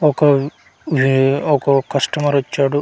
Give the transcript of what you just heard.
ఒక వే ఒక ఒక కస్టమర్ వచ్చాడు .